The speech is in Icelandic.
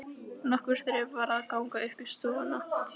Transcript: Nokkur þrep var að ganga upp í stofuna.